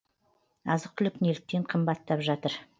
азық түлік неліктен қымбаттап жатыр